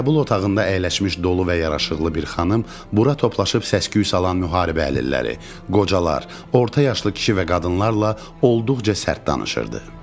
Qəbul otağında əyləşmiş dolu və yaraşıqlı bir xanım bura toplaşıb səs-küy salan müharibə əlilləri, qocalar, orta yaşlı kişi və qadınlarla olduqca sərt danışırdı.